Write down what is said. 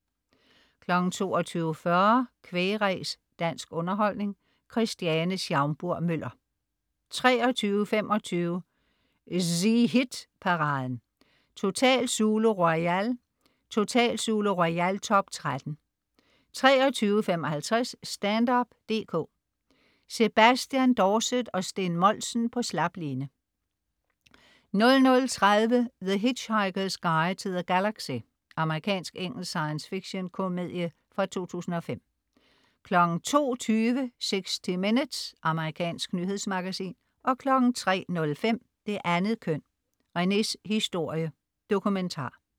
22.40 Kvæg-ræs. Dansk underholdning. Christiane Schaumburg-Müller 23.25 ZHit-paraden: Total Zulu Royal. Total Zulu Royal-top 13 23.55 Stand-up dk. Sebastian Dorset og Steen Moltzen på slap line 00.30 The Hitchhiker's Guide to the Galaxy. Amerikansk/engelsk science fiction-komedie fra 2005 02.20 60 Minutes. Amerikansk nyhedsmagasin 03.05 Det andet køn: Rene's historie. Dokumentar